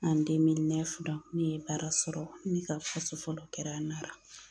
ne ye baara sɔrɔ ne ka fɔlɔ kɛra Nara.